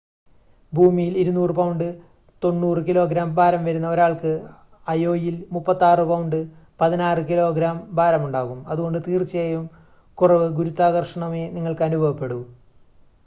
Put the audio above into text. ഭൂമിയിൽ 200 pound 90 kilogram ഭാരം വരുന്ന ഒരാൾക്ക് അയോയിൽ 36 പൗണ്ട് 16 കിലോഗ്രാം ഭാരം ഉണ്ടാകും. അതുകൊണ്ട് തീർച്ചയായും കുറവ് ഗുരുത്വാകർഷണമേ നിങ്ങൾക്ക് അനുഭവപ്പെടൂ